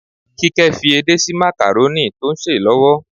Kíkẹ́ fi edé sí makarónì tó ń sè lọ́wọ́.